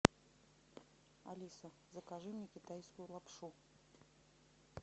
алиса закажи мне китайскую лапшу